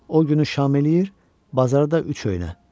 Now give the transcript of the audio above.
O günü şam eləyir, bazarda üç öynə.